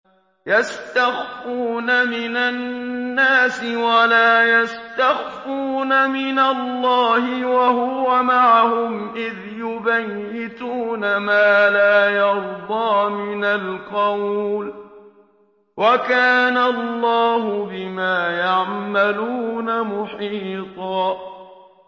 يَسْتَخْفُونَ مِنَ النَّاسِ وَلَا يَسْتَخْفُونَ مِنَ اللَّهِ وَهُوَ مَعَهُمْ إِذْ يُبَيِّتُونَ مَا لَا يَرْضَىٰ مِنَ الْقَوْلِ ۚ وَكَانَ اللَّهُ بِمَا يَعْمَلُونَ مُحِيطًا